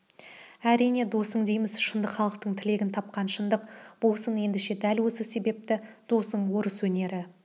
әрине досың дейміз шындық халықтың тілегін тапқан шындық болсын ендеше дәл осы себепті досың орыс өнері